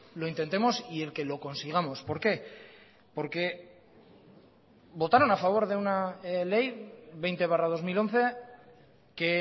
lo intentemos y el que lo consigamos por qué porque votaron a favor de una ley veinte barra dos mil once que